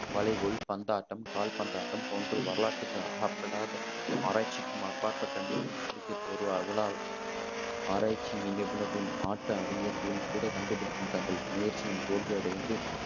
வளைகோல் பந்தாட்டம், கால்பந்தாட்டம் போன்று வரலாற்றுக்கு அகப்படாத, ஆராய்ச்சிக்கும் அப்பாற்பட்ட நிலையில் கிரிக்கெட் உரு உலா ஆராய்ச்சி நிபுணர்களும் ஆட்ட அறிஞர்களும் கூட கண்டுபிடிக்கும் தங்கள் முயற்சியில் தோல்வியடைந்து